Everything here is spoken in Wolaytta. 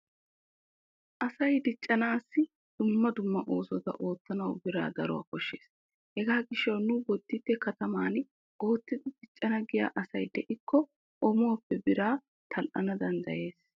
Asay diccanaassi dumma dumma oosota ottanawu biraa daruwa koshshees. Hegaa gishshawu nu bodditte kataman oottidi diccana giya asi diikko oomuwappe biraa tal"ana danddayees.